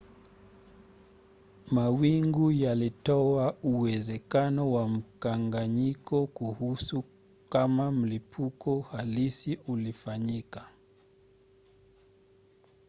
mawingu yalitoa uwezekano wa mkanganyiko kuhusu kama mlipuko halisi ulifanyika